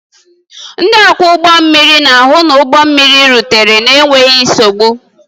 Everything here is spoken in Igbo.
Ndị ọkwọ ụgbọ mmiri na-ahụ na ụgbọ mmiri rutere n'enweghị nsogbu